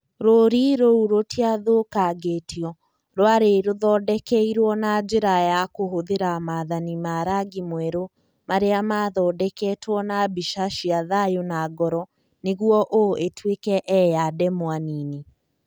Rũũri rũu rũtiathũkangĩtio; rwarĩ rũthondekeirũo na njĩra ya kũhũthĩra mathani ma rangi mwerũ marĩa maathondeketwo na mbica cia thayũ na ngoro nĩguo "O" ĩtuĩke "e" ya ndemwa nini.